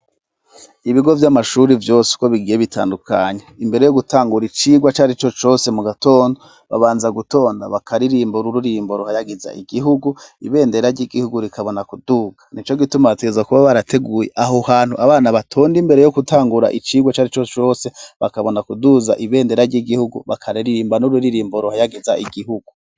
Ibigo vy'amashuri vyose uko bigiye bitandukanya imbere yo gutangura icirwa cari co cose mu gatonda babanza gutonda bakaririmbo ra ururimbo ruhayagiza igihugu ibendera ry'igihugu rikabona kuduka ni co gitumateza kuba barateguye aho hantu abana batonde imbere yo gutangura icirwa c'ari co cose bakabona kuduza ibendera ry'igikhuo gbakara ririmba n'urwe ririmbo rohayageza igihugu.